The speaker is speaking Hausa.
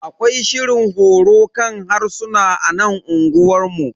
Akwai shirin horo kan harsuna a nan unguwanmu.